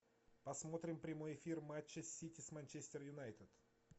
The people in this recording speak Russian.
посмотрим прямой эфир матча сити с манчестер юнайтед